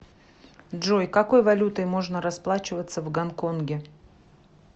джой какой валютой можно расплачиваться в гонконге